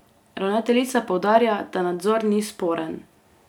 Ravnateljica poudarja, da nadzor ni sporen.